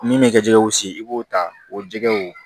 Min bɛ ka jɛgɛw si i b'o ta o jɛgɛw